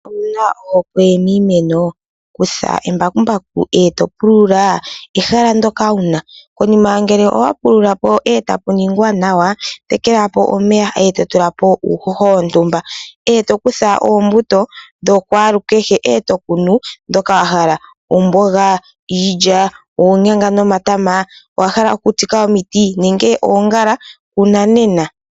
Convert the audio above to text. Owu na ohokwe niimeno? Kutya embakumbaku eto pulula ehala ndika wu na. Poyima ngele owapulula po, eta pu ningwa nanwa, tekela po omeya , eto tula po uuhoho wontumba, eto kutha oombuto dhakwalukehe, eto kunu ndhoka wa hala; oomboga, iilya, oonyanga nomatama, owahala oku tsika omiti nenge oongala? Kuna nena.